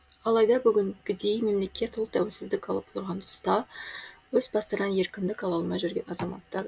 алайда бүгінгідей мемлекет ұлт тәуелсіздік алып отырған тұста өз бастарына еркіндік ала алмай жүрген азаматтар